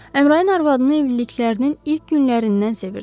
Əmrayın arvadını evliliklərinin ilk günlərindən sevirdi.